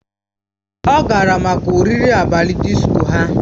Ọ gara maka oriri abalị disko ha